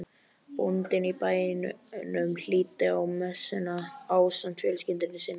Bóndinn á bænum hlýddi á messuna ásamt fjölskyldu sinni.